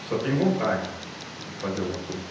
E só tem vontade de fazer alguma coisa.